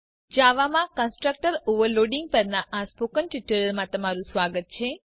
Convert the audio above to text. જાવામાં constructor overloading પરના spoken ટ્યુટોરીયલમાં સ્વાગત છે